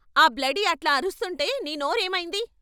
ఆ బ్లడీ అట్లా అరుస్తుంటే నీ నోరేమయింది?